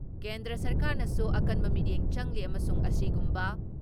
ꯀꯦꯟꯗ꯭ꯔ ꯁꯔꯀꯥꯔꯅꯁꯨ ꯑꯀꯟꯕ ꯃꯤꯠꯌꯦꯡ ꯆꯪꯂꯤ ꯑꯃꯁꯨꯡ ꯑꯁꯤꯒꯨꯝꯕ